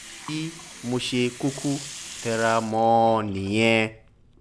bí mo ṣe kúkú tẹra mọ́ ọn nìyẹn